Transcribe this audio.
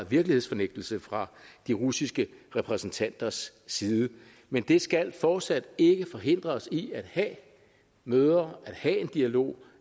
virkelighedsfornægtelse fra de russiske repræsentanters side men det skal fortsat ikke forhindre os i at have møder at have en dialog